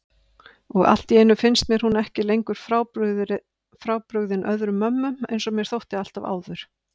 Og alltíeinu finnst mér hún ekki lengur frábrugðin öðrum mömmum einsog mér þótti alltaf áður.